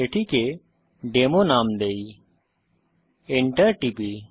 এটিকে ডেমো নাম দেই Enter টিপি